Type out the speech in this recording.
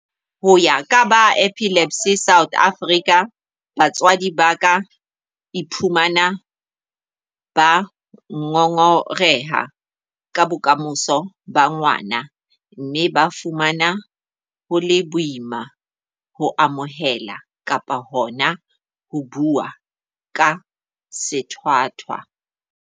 Ho ya ka ba Epilepsy South Africa, batswadi ba ka iphumana ba ngongoreha ka bokamoso ba ngwana mme ba fumana ho le boima ho amohela kapa hona ho bua ka sethwathwa.